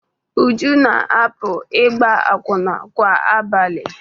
Uju na-apụ ịgba akwụna kwa abalị ọ bụla.